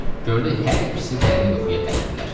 Gördü hər ikisi dərin yuxuya qərqdilər.